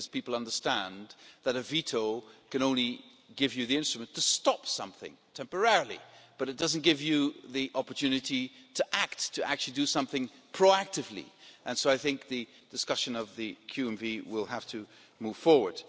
People understand that a veto can only give you the instrument to stop something temporarily, but it doesn't give you the opportunity to act, to actually do something proactively, and so I think the discussion of QMV will have to move forward.